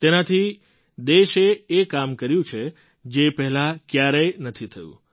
તેનાથી દેશે એ કામ કર્યું છે જે પહેલાં ક્યારેય નથી થયું